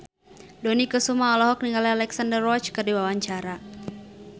Dony Kesuma olohok ningali Alexandra Roach keur diwawancara